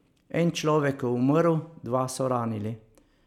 En človek je umrl, dva so ranili.